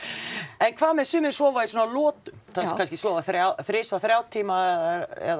en hvað með sumir sofa í svona lotum já kannski sofa þrisvar þrjá tíma eða